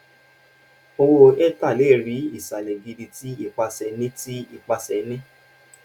owo ether le ri isalẹ gidi ti ipase ni ti ipase ni